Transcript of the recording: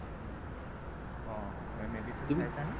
অ অ medicine খাইছা নে